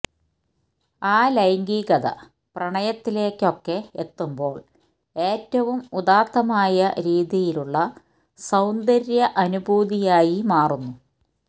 ആ ലൈംഗികത പ്രണയത്തിലേക്കൊക്കെ എത്തുമ്പോള് ഏറ്റവും ഉദാത്തമായ രീതിയിലുള്ള സൌന്ദര്യ അനുഭൂതിയായി മാറുന്നു